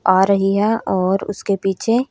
आ रही हैं और उसके पीछे--